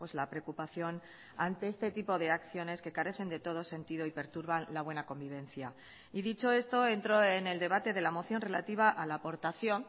la preocupación ante este tipo de acciones que carecen de todo sentido y perturban la buena convivencia y dicho esto entro en el debate de la moción relativa a la aportación